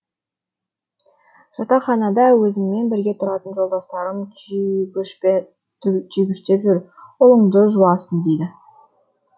жатақханада өзіммен бірге тұратын жолдастарым түйгіштеп жүр ұлыңды жуасың дейді